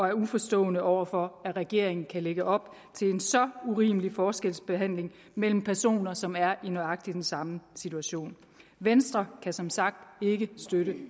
er uforstående over for at regeringen kan lægge op til en så urimelig forskelsbehandling mellem personer som er i nøjagtig den samme situation venstre kan som sagt ikke støtte